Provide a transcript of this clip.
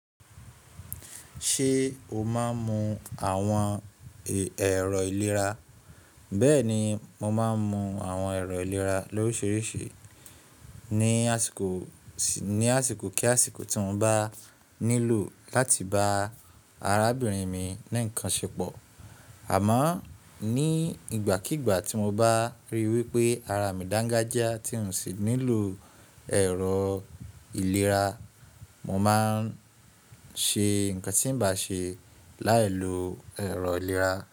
Ṣé o máa ń mu àwọn èrọ ìlera? Bẹ́ẹ̀ ni, mo máa ń mu àwọn ẹ̀rọ ìlera lórìṣìrisi ní àsìkò kí àsìkò tí mo bá nílò láti bá arábìnrin mi ni nǹkan ṣepọ̀. Àmọ́ ní ìgbàkígbà tí mo bá ríi wípé ara mi dangaja tí n sì nílò ẹ̀rọ ìlera, mo máa ń ṣe nǹkan tí ǹ bá ṣe láì lo ẹ̀rọ ìlera.